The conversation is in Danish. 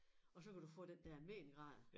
Og så kan du få den der mengrad